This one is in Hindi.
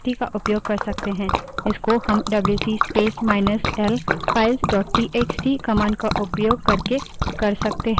इसको हम WC space minus L files dot TXT wc space minus l files dot txt command का उपयोग करके कर सकते हैं